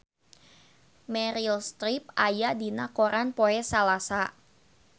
Meryl Streep aya dina koran poe Salasa